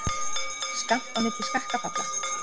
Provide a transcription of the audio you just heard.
Skammt á milli skakkafalla